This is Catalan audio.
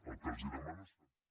el que els demano